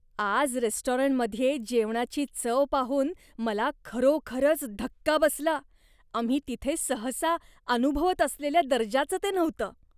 आज रेस्टॉरंटमध्ये जेवणाची चव पाहून मला खरोखरच धक्का बसला. आम्ही तिथे सहसा अनुभवत असलेल्या दर्जाचं ते नव्हतं.